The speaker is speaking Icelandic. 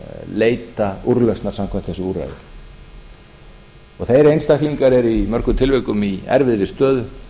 leita úrlausna samkvæmt þessu úrræði og þeir einstaklingar eru í mörgum tilvikum í erfiðri stöðu